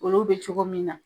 Olu bɛ cogo min na